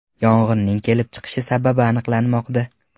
Yong‘inning kelib chiqish sababi aniqlanmoqda.